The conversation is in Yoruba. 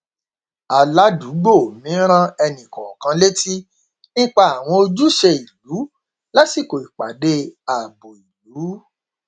aládùúgbò mi rán ẹnìkọọkan létí nípa àwọn ojúṣe ìlú lásìkò ìpàdé ààbò ìlú